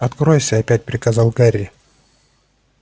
откройся опять приказал гарри